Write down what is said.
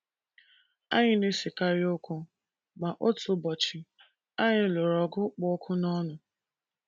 Anyị na - esekarị okwu, ma otu ụbọchị, anyị lụrụ ọgụ kpụ ọkụ n’ọnụ.